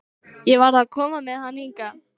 Ég varð að koma með hann hingað.